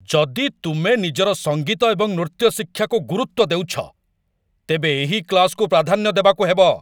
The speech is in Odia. ଯଦି ତୁମେ ନିଜର ସଙ୍ଗୀତ ଏବଂ ନୃତ୍ୟ ଶିକ୍ଷାକୁ ଗୁରୁତ୍ୱ ଦେଉଛ, ତେବେ ଏହି କ୍ଲାସ୍‌କୁ ପ୍ରାଧାନ୍ୟ ଦେବାକୁ ହେବ।